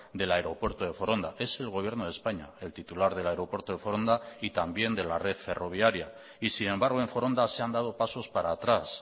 del aeropuerto de foronda es el gobierno de españa el titular del aeropuerto de foronda y también de la red ferroviaria y sin embargo en foronda se han dado pasos para atrás